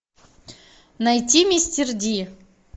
найти мистер ди